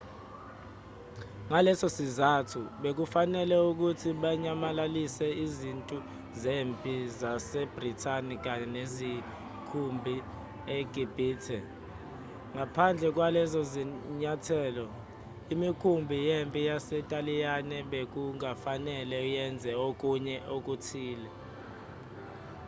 ngalesosizathu bekufanele ukuthi banyamalalise izintu zempi zasebrithani kanye nemikhumpi egibhithe. ngaphandle kwalezozinyathelo imikhumbi yempi yasentaliyane bekungafanele yenze okunye okuthile